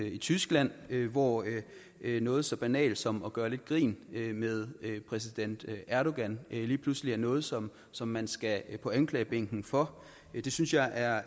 i tyskland hvor noget så banalt som at gøre lidt grin med præsident erdogan lige pludselig er noget som som man skal på anklagebænken for det synes jeg er